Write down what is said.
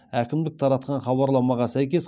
әкімдік таратқан хабарламаға сәйкес